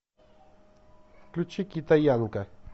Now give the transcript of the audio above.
включи китаянка